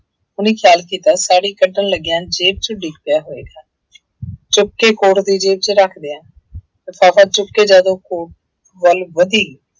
ਉਹਨੇ ਖਿਆਲ ਕੀਤਾ ਸਾੜੀ ਕੱਢਣ ਲੱਗਿਆਂ ਜੇਬ ਚੋਂ ਡਿੱਗ ਪਿਆ ਹੋਏਗਾ ਚੁੱਕ ਕੇ ਕੋਟ ਦੀ ਜੇਬ ਵਿੱਚ ਰੱਖ ਦਿਆਂ ਲਿਫ਼ਾਫ਼ਾ ਚੁੱਕ ਕੇ ਜਦ ਉਹ ਕੋਟ ਵੱਲ ਵਧੀ।